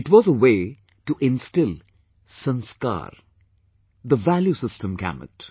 It was a way to instill 'Sanskaar'; the value system gamut